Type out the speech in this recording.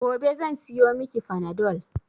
Gobe zan siyo mi ki fanadol